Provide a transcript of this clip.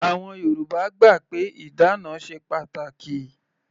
Àwọn Yorùbá gbà pé ìdána ṣe pàtàkì.